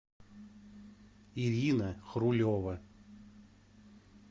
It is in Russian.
ирина хрулева